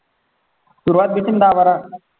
सुरुवात देतीन दहा बारा